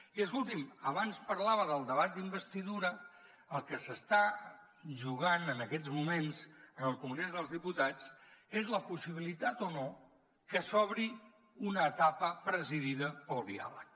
i escolti’m abans parlava del debat d’investidura el que s’està jugant en aquests moments al congrés dels diputats és la possibilitat o no que s’obri una etapa presidida pel diàleg